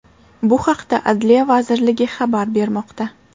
Bu haqda Adliya vazirligi xabar bermoqda.